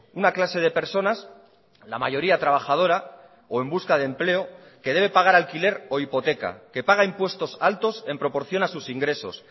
una clase de personas la mayoría trabajadora o en busca de empleo que debe pagar alquiler o hipoteca que paga impuestos altos en proporción a sus ingresos